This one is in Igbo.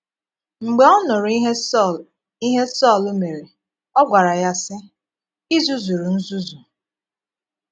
Mgbe ọ nụrụ́ ihe Sọl ihe Sọl mére, ọ gwara ya, sị: “ I zuzuru nzùzù.